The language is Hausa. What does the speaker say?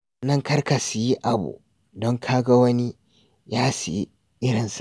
Sannan kar ka sayi abu don ka ga wani ya sayi irinsa.